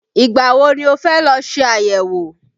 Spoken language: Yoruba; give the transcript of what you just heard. Ìgbà wo ni o fẹ́ lọ ṣe àyẹ̀wò?